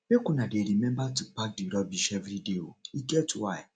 make una dey rememba to pack di rubbish everyday o e get why